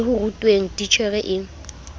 le ho rutweng titjhere e